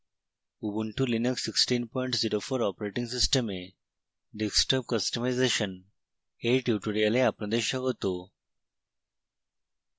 ubuntu linux 1604 operating system desktop customization এর tutorial আপনাদের স্বাগত